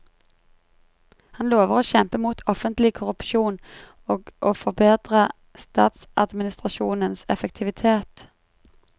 Han lover å kjempe mot offentlig korrupsjon og å forbedre statsadministrasjonens effektivitet.